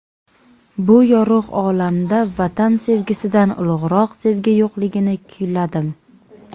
Bu yorug‘ olamda Vatan sevgisidan ulug‘roq sevgi yo‘qligini kuyladim.